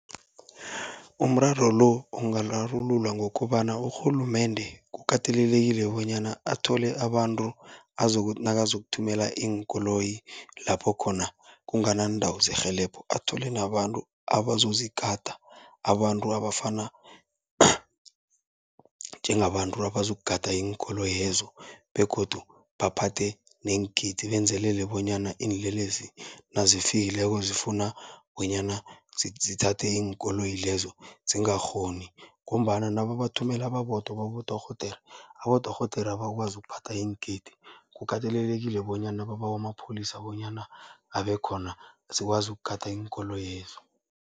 Umraro lo ungararululwa ngokobana, urhulumende kukatelelekile bonyana athole abantu azokuthi nakazokuthumela iinkoloyi lapho khona kunganaandawo zerhelebho, athole nabantu abazozigada abantu abafana njengabantu abazokugada iinkoloyezo. Begodu baphathe neengidi benzelele bonyana iinlelesi nazifikileko, zifuna bonyana zithathe iinkoloyi lezo zingakghoni, ngombana nababathumela babodwa babodorhodere, abodorhodere abakwazi ukuphatha iingidi. Kukatelelekile bonyana babawe amapholisa bonyana abe khona sikwazi ukugada. iinkoloyezo